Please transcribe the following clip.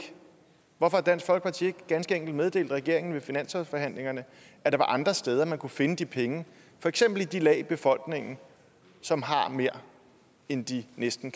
hvorfor har dansk folkeparti ganske enkelt ikke meddelt regeringen ved finanslovsforhandlingerne at der var andre steder man kunne finde de penge for eksempel i de lag af befolkningen som har mere end de næsten